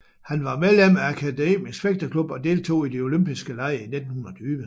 Han var medlem af Akademisk Fægteklub og deltog i de Olympiske Lege i 1920